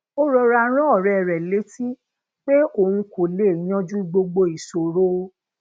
ó rọra rán òré rè létí pé òun kò lè yanjú gbogbo ìṣòro